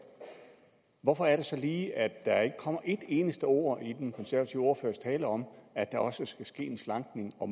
hvorfor er det så lige at der ikke kommer et eneste ord i den konservative ordførers tale om at der også skal ske en slankning og